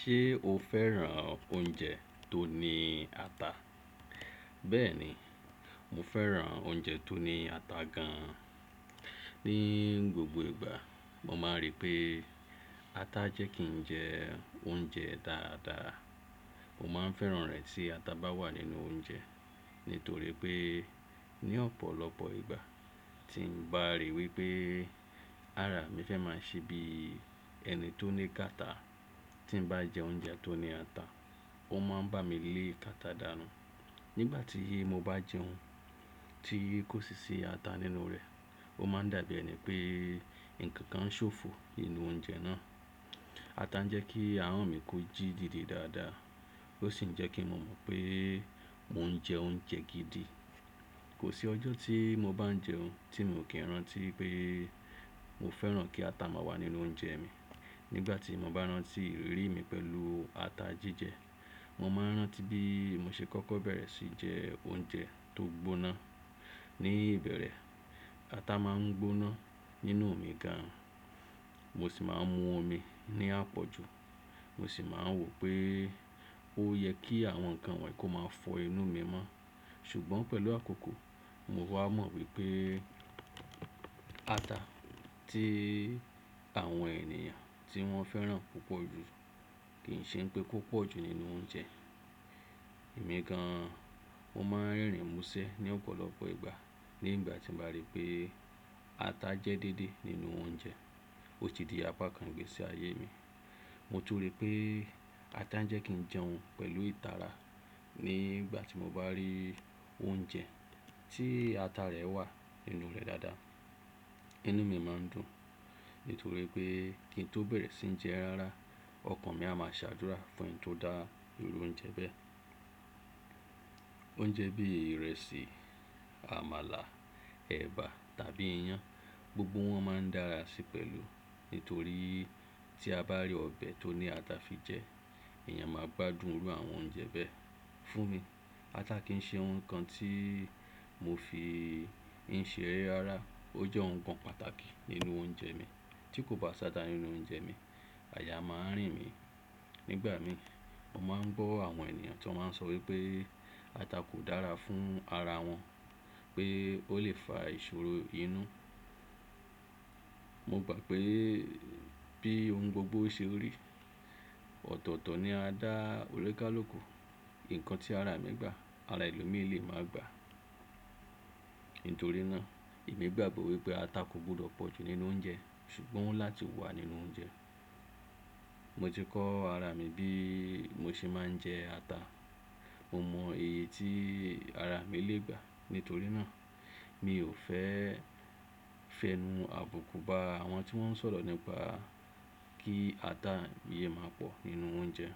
Ṣé o fẹ́ràn oúnjẹ tó ní ata? Bẹ́ẹ̀ni, mo fẹ́ràn oúnjẹ tó ní ata gan. Ni gbogbo ìgbà, mo máa ń rí pé ata jẹ́ kí ń jẹ oúnjẹ dáadáa. Mo ma ń fẹ́ràn rẹ̀ tí ata bá wà nínú oúnjẹ, nítorí pé ní ọ̀pọ̀lọpọ̀ ìgbà tí ń bá ríi wípé, ará mi fẹ́ máa ń ṣe bí ẹni tó ní kàtá tí ń bá jẹ oúnjẹ tó ní ata, ó máa ń bá mi lé kàtá dànù. Nígbà tí mo bá jẹ oún, tí kò sí sí ata nínú rẹ̀, ó máa ń dàbí ẹni pé ǹkan kan ṣófo nínú oúnjẹ náà. Ata ń jẹ́ kí ahọ́n mi kó jí dìde dáadáa, ó sì ń jẹ́ kí mo mọ̀ pé mò ń jẹ oúnjẹ gidi. Kò sí ọjọ́ tí mo bá ń jẹ oún tí mo kí ń rántí pé mo fẹ́ràn kí ata má wà nínú oúnjẹ mi. Nígbà tí mo bá rántí ìrírí mi pẹ̀lú ata jíjẹ, mo máa ń rántí bí mo ṣe kọ́kọ́ bẹ̀rẹ̀ sí jẹ oúnjẹ tó gbóná. Ni ìbẹ̀rẹ̀, ata má ń gbóná nínú mi gan, mo sì má ń mú ọmí ní àpọ̀jù. Mo sì máa ń wò pé ó yẹ kí àwọn nǹkan wọ̀nyí kó máa fọ inú mi mọ́. Ṣùgbọ́n pẹ̀lú àkókò, mo wá mọ̀ wípé ata tí àwọn èèyàn tí wọ́n fẹ́ràn púpọ̀ jù kì ń ṣe pé kò pọ̀ jù nínú oúnjẹ. Èmi gan, mo máa ń rerìn mú ṣẹ́ ní ọ̀pọ̀lọpọ̀ ìgbà nígbà tí mo bá rí pé ata jẹ́ dedé nínú oúnjẹ. Ó ti di apá kan ìgbésí ayé mi. Mo túnri pé ata ń jẹ́ kí ń jẹun pẹ̀lú ìtara. Nígbà tí mo bá rí oúnjẹ tí ata rẹ̀ wà nínú rẹ̀ dáadáa, inú mi má ń dùn, nítorí pé kí n tó bẹ̀rẹ̀ sí jẹ rárá, ọkàn mi a máa ṣàdúrà fún ẹni tó dá irú oúnjẹ bẹ́ẹ̀. Oúnjẹ bí ìrẹsì, àmàlà, ẹ̀bà tàbí iyán, gbogbo wọ́n má ń dára sí pẹ̀lú. Nítorí tí a bá rí ọbẹ̀ tó ní ata fi jẹ, èèyàn máa gbádùn irú àwọn oúnjẹ bẹ́ẹ̀ fún mi. Ata kì ń ṣe ohun kan tí mo fi ń ṣe eré rárá. Ó jẹ́ ohun kan pàtàkì nínú oúnjẹ mi. Tí kò bá ṣáta nínú oúnjẹ mi, àyà máa ń rìn mí. Nígbà mi, mo má ń gbọ́ àwọn ènìyàn tí wọ́n má ń sọ wípé ata kò dára fún ara wọn, pé ó lè fa ìṣòro inú. Mo gbà pé bí ohun gbogbo ṣe rí, ọ̀tọ̀ọ̀tọ̀ ni a dá onikàluku. Ǹkan tí ara mi gbà, ara ẹlòmíì lé má gba. Nítorí náà, èmi gbàgbọ́ wípé ata kò gbọdọ̀ pọ̀ jù nínú oúnjẹ ṣùgbọ́n láti wà nínú oúnjẹ. Mo ti kọ́ ara mi bí mo ṣe máa ń jẹ ata. Mo mọ èyí tí ara mi lè gbà. Nítorí náà, mi ò fẹ́ fẹnu àbùkù bá àwọn tí wọ́n ń sọ̀rọ̀ nípa kí ata yẹ máa pọ̀ nínú oúnjẹ.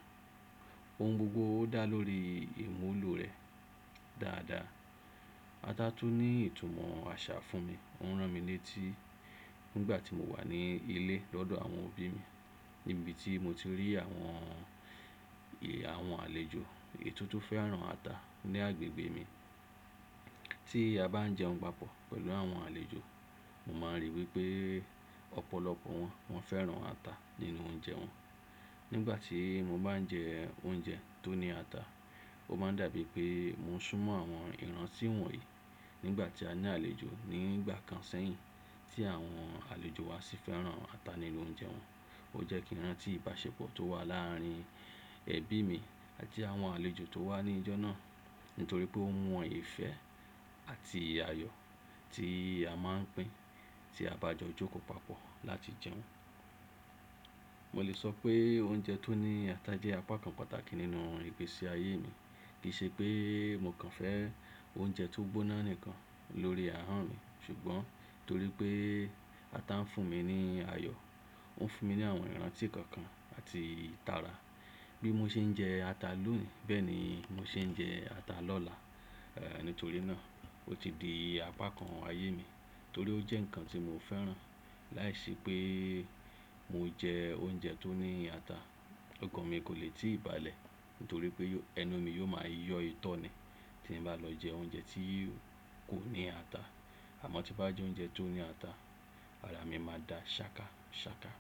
Ohun gbogbo dá lórí èmù úlò rẹ̀ dáadáa. Ata tún ní ìtumọ̀ àṣà fún mi. Ó ń ràn mí ní tí nígbà tí mo wà ní ilé lọ́dọ̀ àwọn òbí mi níbi tí mo ti rí àwọn, àwọn àlejò ètùtù fẹ́ràn ata ní agbègbè mi. Tí a bá ń jẹun papọ̀ pẹ̀lú àwọn àlejò, mo máa ń ríi wípé ọ̀pọ̀lọpọ̀ wọ́n, wọ́n fẹ́ràn ata nínú oúnjẹ wọn. Nígbà tí mo bá ń jẹ oúnjẹ tó ní ata, ó má ń dàbí pé mo ń súnmọ́ àwọn ìrántí wọ̀nyí nígbà tí a ní àlejò ní ìgbà kan sẹ́yìn tí àwọn àlejò wa sì fẹ́ràn ata nínú oúnjẹ wọn. Ó jẹ́ kí ń rántí ìbáṣepọ̀ tó wà láàárín ẹbí mi àti àwọn àlejò tó wá ní ìjọ náà, nítorí pé ó mú wọn ìfẹ́ àti ayọ̀ tí a máa ń pin tí a bá jọ jókòó papọ̀ láti jẹun. Mo lè sọ pé oúnjẹ tó ní ata jẹ́ apá kan pàtàkì nínú ìgbésí ayé mi. Kì í ṣe pé mo kàn fẹ́ oúnjẹ tó gbóná nìkan lórí ahọ́n mi ṣùgbọ́n torí pé ata ń fún mi ní ayọ̀, ó ń fún mi ní àwọn ìrántí kọ̀ọ̀kan àti ìtara. Bí mo ṣe ń jẹ ata lónìí bẹ́ẹ̀ ni mo ṣe ń jẹ ata lọ́la. Ehn, nítorí náà ó ti di apá kan ayé mi torí ó jẹ́ ǹkan tí mo fẹ́ràn. Láìsí pé mo jẹ oúnjẹ tó ní ata, ọkàn mi kò lè tí ì balẹ̀ nítorí pé ẹnu mi yóò máa yọ́ itọ́ni tí n bá lọ jẹ oúnjẹ tí kò ní ata. Àmọ́ tí bá jẹ́ oúnjẹ tó ní ata, ara mi máa da ṣàkàṣàkà.